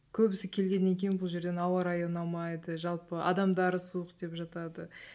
көбісі келгеннен кейін бұл жерден ауа райы ұнамайды жалпы адамдары суық деп жатады